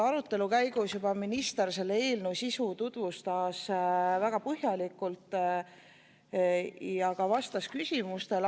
Arutelu käigus siin minister selle eelnõu sisu tutvustas juba väga põhjalikult ja ka vastas küsimustele.